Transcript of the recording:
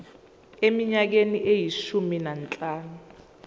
eminyakeni eyishumi nanhlanu